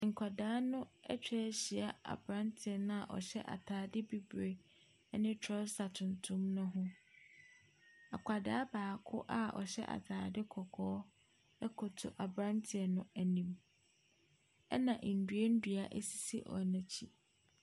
Nkwadaa no atwa ahyia aberanteɛ no a ɔhyɛ ataadeɛ bibire ne trɔsa tutuntum ne ho. Na akwadaa baako a ɔhyɛ ataade kɔkɔɔ koto aberanteɛ no anim. Na nnuannua sisi wɔn akyi.